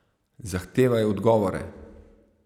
Zahtevaj odgovore!